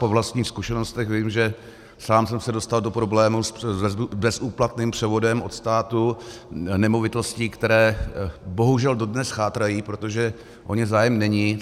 Po vlastních zkušenostech vím, že sám jsem se dostal do problémů s bezúplatným převodem od státu - nemovitostí, které bohužel dodnes chátrají, protože o ně zájem není.